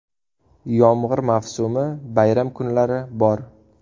Yomg‘ir mavsumi, bayram kunlari bor.